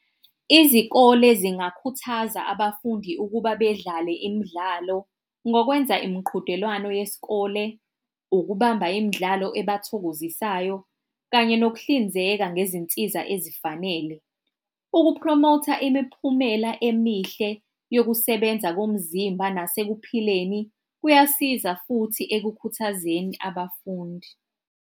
Izikole zingakhuthaza abafundi ukuba bedlale imidlalo ngokwenza imiqhudelwano yesikole, ukubamba imidlalo ebathokozisayo kanye nokuhlinzeka ngezinsiza ezifanele. Ukupromotha imiphumela emihle yokusebenza komzimba nasekuphileni kuyasiza futhi ekukhuthazekeni abafundi.